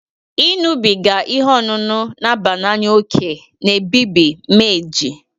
Ị ñụbiga ihe ọṅụṅụ n'aba n'anya oke na-ebibi meji